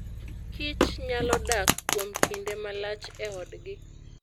Kich nyalo dak kuom kinde malach e odgi.